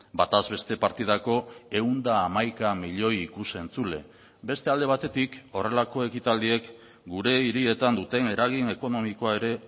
bataz beste partidako ehun eta hamaika milioi ikus entzule beste alde batetik horrelako ekitaldiek gure hirietan duten eragin ekonomikoa ere